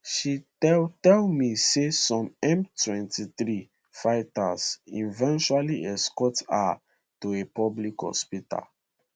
she tell tell me say some m23 fighters eventually escort her to a public hospital